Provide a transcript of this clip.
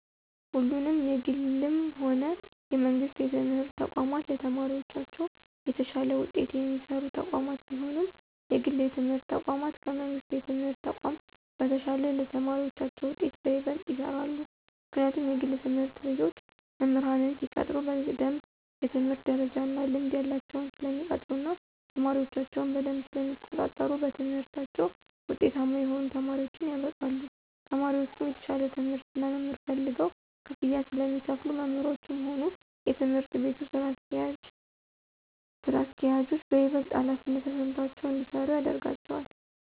ሁለቱም የግልም ሆነ የመንግስት የትምህርት ተቋማት ለተማሪዎቻቸው የተሻለ ውጤት የሚሰሩ ተቋማት ቢሆኑም የግል የትምህርት ተቋማት ከመንግሥት የትምህርት ተቋም በተሻለ ለተማሪዎቻቸው ውጤት በይበልጥ ይሰራሉ። ምክንያቱም የግል ትምህርት ቤቶች መምህራንን ሲቀጥሩ በደምብ የትምህርት ደረጃ እና ልምድ ያላቸውን ስለሚቀጥሩ እና ተማሪዎቻቸውንም በደምብ ስለሚቆጣጠሩ በትምህርታቸው ውጤታማ የሆኑ ተማሪዎችን ያበቃሉ። ተማሪዎቹም የተሻለ ትምህርት እና መምህር ፈልገው ክፍያ ስለሚከፍሉ መምህሮቹም ሆኑ የትምህርት ቤቱ ስራ አስኪያጆች በይበልጥ ሀላፊነት ተሰምቷቸው እንዲሰሩ ያደርጋቸዋል።